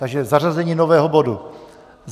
Takže zařazení nového bodu.